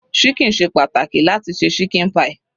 Ṣíkìn ṣe pàtàkì láti se ṣíkìn pie.